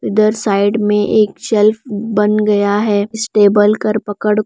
इधर साइड में एक शेल्फ बन गया है इस टेबल कर पकड़ --